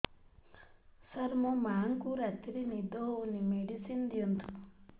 ସାର ମୋର ମାଆଙ୍କୁ ରାତିରେ ନିଦ ହଉନି ମେଡିସିନ ଦିଅନ୍ତୁ